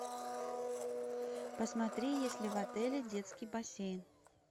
посмотри есть ли в отеле детский бассейн